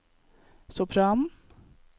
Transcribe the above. sopranen